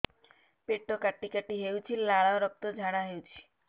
ପେଟ କାଟି କାଟି ହେଉଛି ଲାଳ ରକ୍ତ ଝାଡା ହେଉଛି